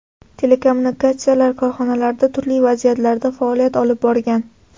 Telekommunikatsiyalar korxonalarida turli vazifalarda faoliyat olib borgan.